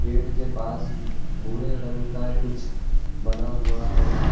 पेड़ के पास भूरे रंग का कुछ बना हुआ है।